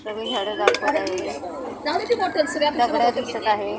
कमी झाडं दाखवत आहेत दगडं दिसत आहेत.